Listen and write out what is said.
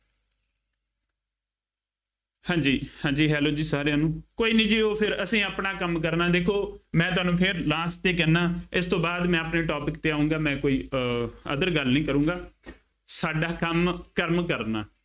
ਹਾਂਜੀ ਹਾਂਜੀ hello ਜੀ ਸਾਰਿਆਂ ਨੂੰ, ਕੋਈ ਨਹੀਂ ਜੀ ਉਹ ਫੇਰ ਅਸੀਂ ਆਪਣਾ ਕੰਮ ਕਰਨਾ ਦੇਖੋ ਮੈਂ ਤੁਹਾਨੂੰ ਫੇਰ last ਤੇ ਕਹਿੰਦਾ, ਇਸ ਤੋਂ ਬਾਅਦ ਮੈਂ ਆਪਣੇ topic ਤੇ ਆਊਂਗਾ, ਮੈਂ ਕੋਈ ਅਰ other ਗੱਲ ਨਹੀਂ ਕਰੂੰਗਾ, ਸਾਡਾ ਕੰਮ ਕੰਮ ਕਰਨਾ।